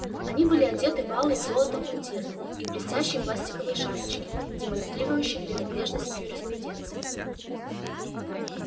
они были одеты в алые с золотом мундиры и блестящие пластиковые шапочки демонстрирующие принадлежность к юриспруденции